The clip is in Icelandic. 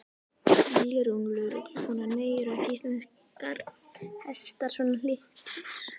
Lilja Rún, lögreglukona: Nei, eru ekki íslenskir hestar svo litlir?